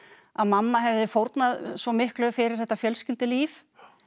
að mamma hefði fórnað svo miklu fyrir þetta fjölskyldulíf